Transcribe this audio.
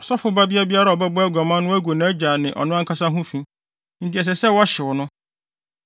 “ ‘Ɔsɔfo babea biara a ɔbɛbɔ aguaman no gu nʼagya ne ɔno ankasa ho fi, enti ɛsɛ sɛ wɔhyew no.